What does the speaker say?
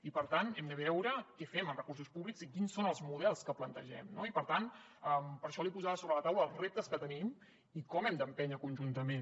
i per tant hem de veure què fem amb recursos públics i quins són els models que plantegem no i per tant per això li posava sobre la taula els reptes que tenim i com hem d’empènyer conjuntament